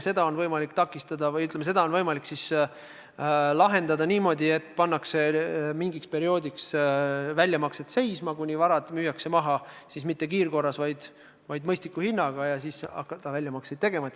Seda on võimalik takistada või, ütleme, seda on võimalik lahendada niimoodi, et mingiks perioodiks pannakse väljamaksete tegemine seisma, kuni varad on maha müüdud – mitte kiirkorras, vaid mõistliku hinnaga –, ja siis hakatakse uuesti väljamakseid tegema.